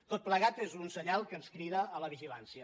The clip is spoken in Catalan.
tot plegat és un senyal que ens crida a la vigilància